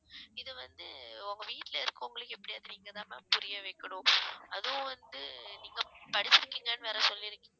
இது வந்து உங்க வீட்டுல இருக்கறவங்களுக்கு எப்படியாவது நீங்கதான் ma'am புரிய வைக்கணும் அதுவும் வந்து நீங்க படிச்சிருக்கீங்கன்னு வேற சொல்லிருக்கீங்~